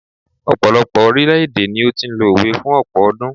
ọpọlọpọ orilẹ ede ni o ti n lo òwe fún ọpọ ọdún